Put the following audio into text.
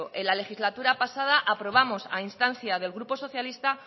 en la legislatura pasada aprobamos a instancia del grupo socialista